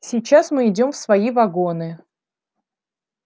сейчас мы идём в свои вагоны